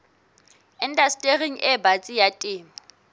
indastering e batsi ya temo